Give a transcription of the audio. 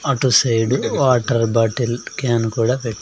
అటు side water bottle can కూడా పెట్--